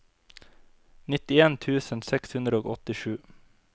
nittien tusen seks hundre og åttisju